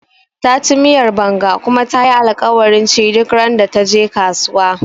Taci miyar Banga kuma tayi alkawarin ci duk randa taje kasuwa